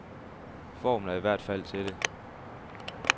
Formen er i hvert fald til det.